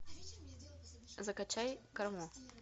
закачай карму